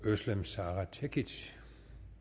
løse det